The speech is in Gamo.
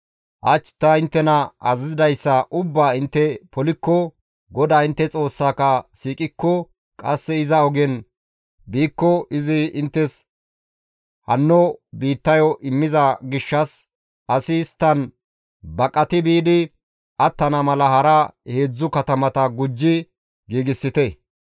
hach ta inttena azazidayssa ubbaa intte polikko, GODAA intte Xoossaka siiqikko qasse iza ogen biikko izi inttes hanno biittayo immiza gishshas asi isttan baqati biidi attana mala hara heedzdzu katamata gujji giigsite.